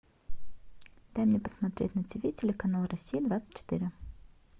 дай мне посмотреть на ти ви телеканал россия двадцать четыре